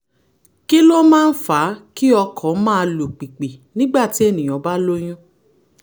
kí ló máa ń fa kí ọkàn máa lù pìpì nígbà tí ẹnìyàn bá lóyún?